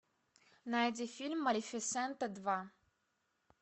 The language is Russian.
найди фильм малефисента два